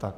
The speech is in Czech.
Tak.